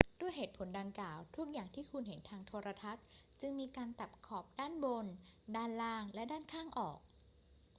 ด้วยเหตุผลดังกล่าว ทุกอย่างที่คุณเห็นทางโทรทัศน์จึงมีการตัดขอบด้านบน ด้านล่าง และด้านข้างออก